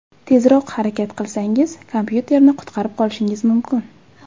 Tezroq harakat qilsangiz, kompyuterni qutqarib qolishingiz mumkin.